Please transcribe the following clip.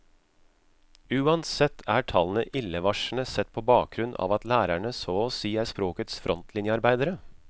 Uansett er tallene illevarslende sett på bakgrunn av at lærerne så å si er språkets frontlinjearbeidere.